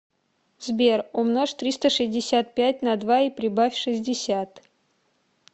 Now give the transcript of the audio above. сбер умножь триста шестьдесят пять на два и прибавь шестьдесят